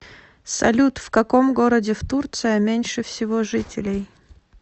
салют в каком городе в турция меньше всего жителей